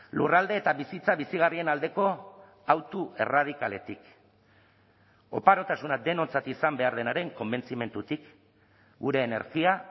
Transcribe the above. lurralde eta bizitza bizigarrien aldeko autu erradikaletik oparotasuna denontzat izan behar denaren konbentzimendutik gure energia